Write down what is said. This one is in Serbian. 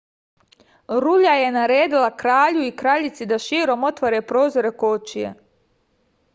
rulja je naredila kralju i kraljici da širom otvore prozore kočije